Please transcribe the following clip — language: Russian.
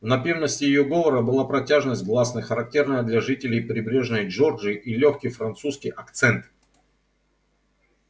в напевности её говора была протяжность гласных характерная для жителей прибрежной джорджии и лёгкий французский акцент